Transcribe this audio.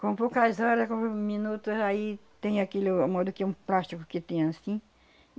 Com poucas hora, com poucos minutos, aí tem aquilo, o modo, que um plástico que tem anssim.